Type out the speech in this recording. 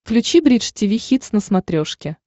включи бридж тиви хитс на смотрешке